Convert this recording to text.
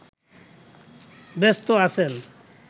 ব্যস্ত আছেন